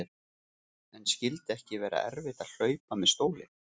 En skyldi ekki vera erfitt að hlaupa með stólinn?